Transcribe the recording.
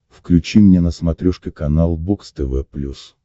включи мне на смотрешке канал бокс тв плюс